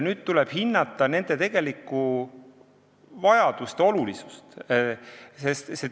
Nüüd tuleb hinnata nende tegelikku vajadust ja olulisust.